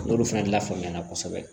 N'olu fana lafaamuya na kosɛbɛ